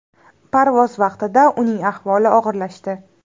Parvoz vaqtida uning ahvoli og‘irlashdi.